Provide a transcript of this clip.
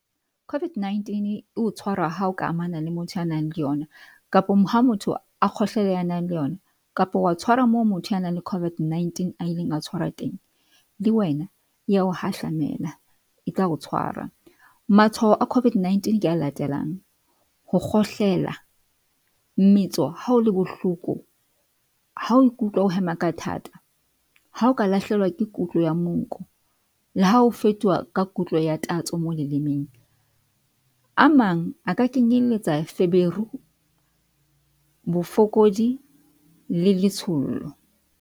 COVID-19 e o tshwara ha o ka amana le motho ya nang le yona kapa ha motho a kgohlela a nang le yona kapa wa tshwara moo motho ya nang le COVID-19 a ileng a tshwarwa teng. Le wena ya o hahlamela e tla o tshwarwa. Matshwao a COVID-19 ke a latelang, ho kgohlela, metso ha o le bohloko, ha oe ikutlwa o hema ka thata, ha oka lahlehelwa ke kutlo ya monko le ha o fetoha ka kutlo ya tatso mo lelemeng. A mang a ka kenyelletsa feberu, bofokodi le letshollo.